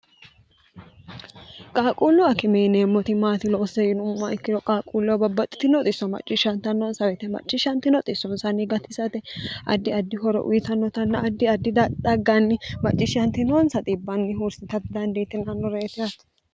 qaaquullu akime yineemmo woyiite maa loosise yinummoha ikkiro qaaquulluwa babbaxxiti noxisso macciishshntnnonswete macciishshnti noxissoonsanni gatisate addi addi horo wiitannotanna addi addi dadhagganni macciishshntinoons xiibbnni huursitai dandiitinnore yaate